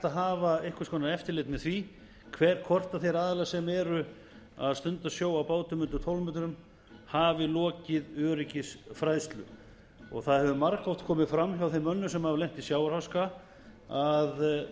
að hafa einhvers konar eftirlit með því hvort þeir aðilar sem eru að stunda sjó á bátum undir tólf metrum hafi lokið öryggisfræðslu það hefur margoft komið fram hjá þeim mönnum sem hafa lent í sjávarháska að